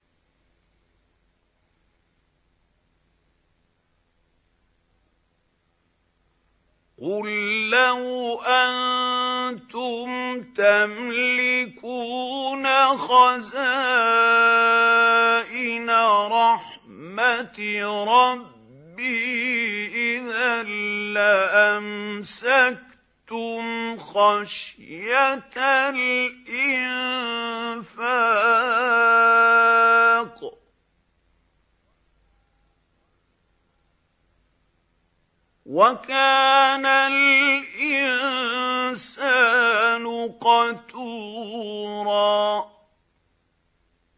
قُل لَّوْ أَنتُمْ تَمْلِكُونَ خَزَائِنَ رَحْمَةِ رَبِّي إِذًا لَّأَمْسَكْتُمْ خَشْيَةَ الْإِنفَاقِ ۚ وَكَانَ الْإِنسَانُ قَتُورًا